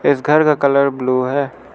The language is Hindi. इस घर का कलर ब्लू है।